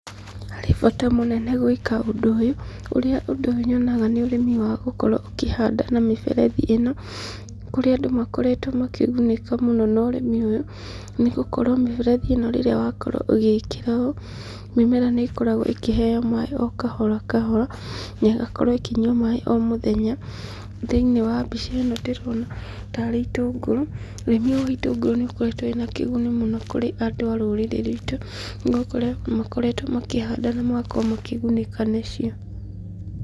Harĩ bata mũnene gwĩka ũndũ ũyũ, ũrĩa ũndũ ũyũ nyonaga nĩ ũrĩmi wa gũkorwo ũkĩhanda na mĩberethi ĩno, kũrĩa andũ makoretwo makĩgunĩka mũno na ũrĩmi ũyũ, nĩgũkorwo mĩberethi ĩno rĩrĩa wakorwo ũgĩĩkĩra ũũ, mĩmera nĩ ĩkoragwo ĩkĩheo maĩ o kahora kahora, na ĩgakorwo ĩkĩnyua maĩ o mũthenya. Thĩinĩ wa mbica ĩno ndĩrona tarĩ itũngũrũ, ũrĩmi ũyũ wa itũngũrũ nĩ ũkoretwo wĩna kĩguni mũno kũrĩ andũ a rũrĩrĩ rwitũ, nĩgũkorwo nĩmakoretwo makĩhanda na magakorwo makĩgunĩka nĩcio.